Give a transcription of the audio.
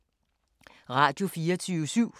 Radio24syv